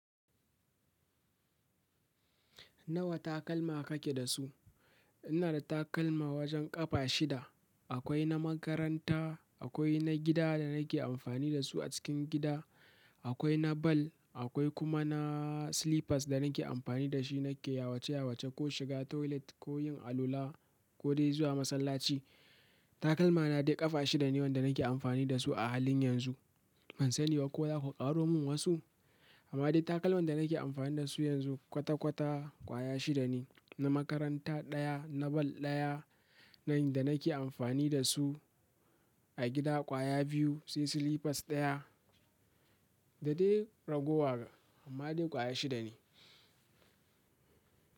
Nawa takalma kake da su? Ina da takalma wajen ƙafa shida. Akwai na makaranta, akwai na gida da nake amfani da su a cikin gida, akwai na ball, akwai kuma na slippers da nake amfani da shi nake yawace yawace ko shiga toilet ko yin alwala ko dai zuwa masallaci. Takalma na dai ƙafa shida ne wanda nake amfani da su a halin yanzu. Ban sani ba ko za ku ƙaro min wasu, amma dai takalman da nake amfani da su yanzu kwata kwata kwaya shida ne. Na makaranta ɗaya, na ball ɗaya, na inda nake amfani da su a gida kwaya biyu, sai slippers ɗaya. Da dai ragowa amma dai kwaya shida ne.